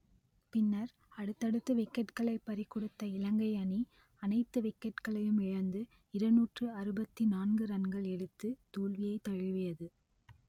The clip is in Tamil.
பின்னர் அடுத்தடுத்து விக்கெட்களை பறிகொடுத்த இலங்கை அணி அனைத்து விக்கெட்களையும் இழந்து இருநூற்று அறுபத்தி நான்கு ரன்கள் எடுத்து தோல்வியை தழுவியது